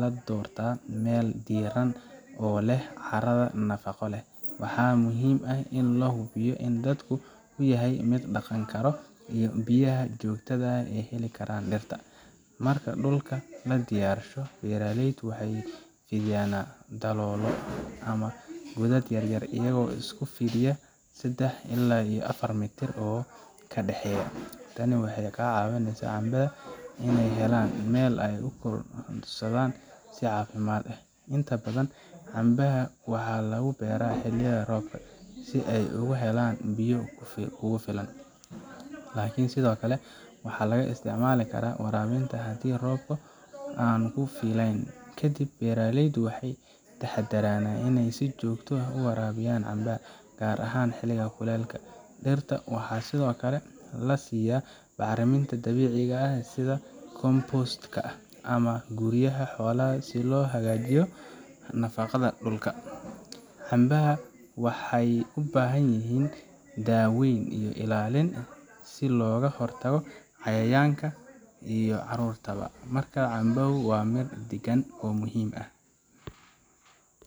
la doortaa meel diiran oo leh carrada nafaqo leh. Waxaa muhiim ah in la hubiyo in dhulku uu yahay mid la dhaqan karo, iyo in biyaha joogtada ah ay heli karaan dhirta. Marka dhulka la diyaarsho, beeraleydu waxay fidiyaan daloolo ama godad yaryar, iyagoo isku fidiya sedax ilaa iyo afar mitir oo ka dhexeeya. Tani waxay ka caawineysaa canbaha inay helaan meel ay ku korodhsadaan si caafimaad leh. Inta badan, canbaha waxaa lagu beeraa xilliga roobka, si ay ugu helaan biyo kugu filan, laakiin sidoo kale waxaa laga isticmaali karaa waraabinta haddii roobka aanu ku filnayn. Kadib, beeraleydu waxay ka taxadaraan inay si joogto ah u waraabiyaan canbaha, gaar ahaan xilliga kulul. Dhirta waxaa sidoo kale la siiya bacriminta dabiiciga ah sida compost ka ah ama guuriyaha xoolaha si loo hagaajiyo nafaqada dhulka. Canbaha waxay u baahan yihiin daaweyn iyo ilaalin si looga hortago cayayaanka iyo cudurada. Marka canbaha ay miro dhigaan, waxaa muhiim ah.